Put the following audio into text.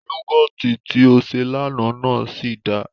Yúgọ̀tì tí ó ṣe l'àná náà sì dáa